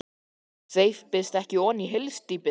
VARLEGA svo hann steypist ekki ofan í hyldýpið.